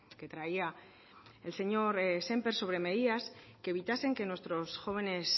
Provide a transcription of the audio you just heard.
que traía el señor sémper sobre medidas que evitasen que nuestros jóvenes